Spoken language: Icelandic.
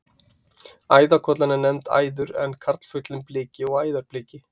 Æðarkollan er nefnd æður en karlfuglinn bliki og æðarbliki.